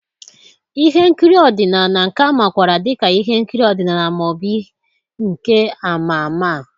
ihe nkiri ọdịnala, nke a makwaara dị ka ihe nkiri ọdịnala ma ọ bụ nke ama ama.